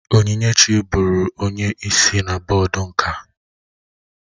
Onyinyechi bụụrụ onye isi na bọọdụ nka